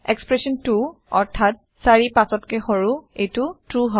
expression 2 অৰ্থাৎ ৪gt৫ এইতো ট্ৰু হয়